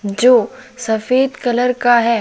जो सफेद कलर का है।